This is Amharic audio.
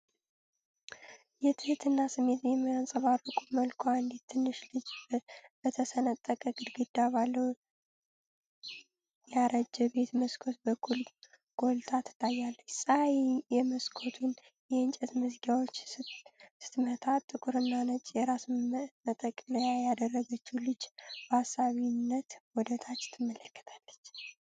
የትህትና ስሜት በሚያንጸባርቅ መልኩ፣ አንዲት ትንሽ ልጅ በተሰነጠቀ ግድግዳ ባለው ያረጀ ቤት መስኮት በኩል ጐልታ ትታያለች። ፀሐይ የመስኮቱን የእንጨት መዝጊያዎች ስትመታ፣ ጥቁርና ነጭ የራስ መጠቅለያ ያደረገችው ልጅ፣ በአሳቢነት ወደ ታች ትመለከታለች።